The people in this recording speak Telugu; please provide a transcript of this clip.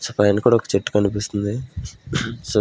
సో పైన కూడా ఒక చెట్టు కనిపిస్తుంది సో--